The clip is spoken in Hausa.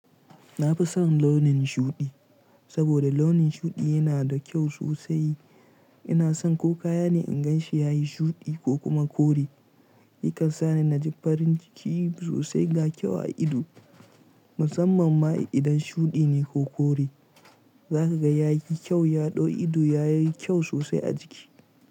Na fi son launin shuɗi, saboda launin shuɗi yana da kyau sosai. Ina son ko kaya ne in gan shi ya yi shuɗi ko kuma kore. Yakan sani na ji farin ciki sosai ga kyau a ido. Musamman ma idan shuɗi ne ko kore. Za ka ga ya yi kyau. Ya ɗau ido. Ya yi kyau sosai a jiki.